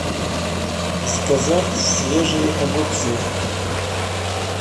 заказать свежие огурцы